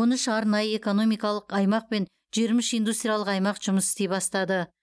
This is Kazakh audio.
он үш арнайы экономикалық аймақ пен жиырма үш индустриялық аймақ жұмыс істей бастады